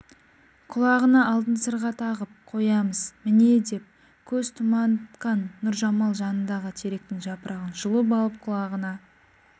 құлағына алтын сырға тағып қоямыз міне деп көз тұманытқан нұржамал жанындағы теректің жапырағын жұлып алып құлағына